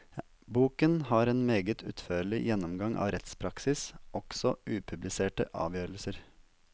Boken har en meget utførlig gjennomgang av rettspraksis, også upubliserte avgjørelser.